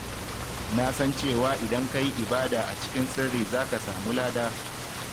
Na san cewa idan ka yi ibada a cikin sirri za ka samu lada.